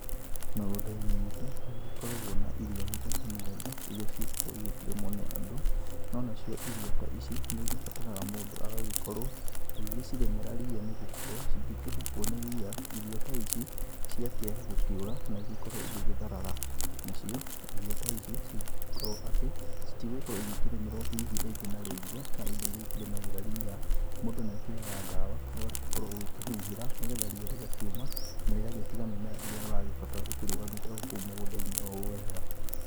Mĩgũnda-inĩ itũ, nĩgũgĩkoragwo na irio mĩthemba, mĩthemba, iria cigĩkoragwo igĩkĩrĩmwo nĩ andũ. No nacio irio ta ici, nĩigĩbataraga mũndũ agagĩkorwo agĩgĩcirĩmĩra ria nĩ gũkorwo, cingĩkĩhubwo nĩ ria, irio ta ici, ciakĩaya gũkĩũra na igĩkorwo igĩtharara. Nacio irio ta ici cingĩkorwo atĩ citigũgĩkorwo igĩkĩrĩmĩrwo hihi rĩngĩ na rĩngĩ, na indo iria ikĩrĩmagĩra ria, mũndũ nĩakĩoyaga ndawa, ũgagĩkorwo ũgĩkĩhuhĩra, nĩgetha ria rĩgakĩũma na rĩgagĩtiga mĩmera ĩrĩa ũragĩbatara ĩkĩrũgamite o kuũ mũgũnda-inĩ o ũũ wega.